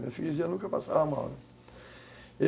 Minha freguesia nunca passava mal.